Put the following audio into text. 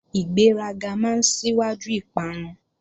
Ìgbéraga máa síwájú ìparun